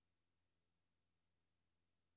Lav en liste over filer.